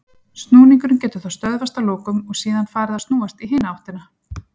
Snúningurinn getur þá stöðvast að lokum og síðan farið að snúast í hina áttina.